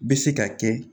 Bɛ se ka kɛ